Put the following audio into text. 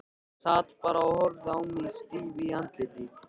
Sat bara og horfði á mig stíf í andliti.